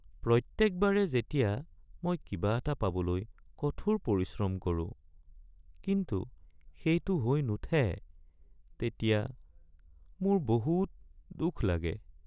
প্ৰত্যেকবাৰে যেতিয়া মই কিবা এটা পাবলৈ কঠোৰ পৰিশ্ৰম কৰোঁ কিন্তু সেইটো হৈ নুঠে তেতিয়া মোৰ বহুত দুখ লাগে।